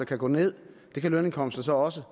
kan gå ned og lønindkomsterne så også